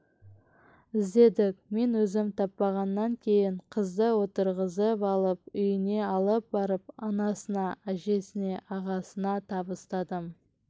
іздедік мен өзім таппағаннан кейін қызды отырғызып алып үйіне алып барып анасына әжесіне ағасына табыстадым